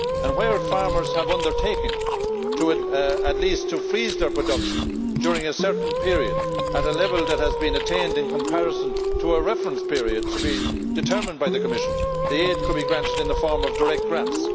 Where farmers have undertaken at least to freeze their production during a certain period at a level that has been attained in comparison to a reference period to be determined by the Commission, the aid could be granted in the form of direct grants.